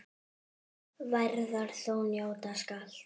Værðar þú njóta skalt.